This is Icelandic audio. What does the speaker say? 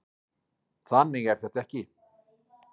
Þannig er þetta ekki.